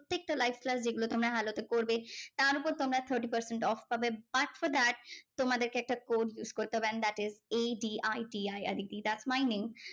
প্রত্যেকটা live class যেগুলো তোমরা hello তে পরবে তার ওপর তোমরা thirty percent off পাবে but for that তোমাদেরকে একটা code use করতে হবে and that isAditi that's my name